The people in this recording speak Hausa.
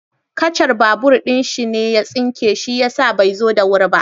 Kacar babur ɗin shi ne ya tsinke shi yasa bai zo da wuri ba.